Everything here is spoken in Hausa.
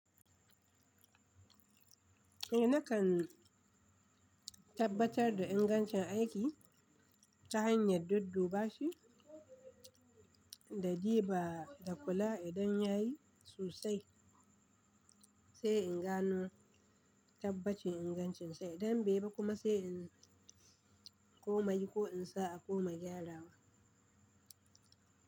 Eh nakan tabbatar da ingancin aiki ta hanyar dadduba shi da de ba da kula idan yayi sosai, sai in gano tabbacin ingancinsa, idan baiyi ba kuma sai in koma yi ko in sa a koma gyarawa.